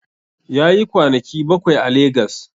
Yayi kwanaki bakwai a Legas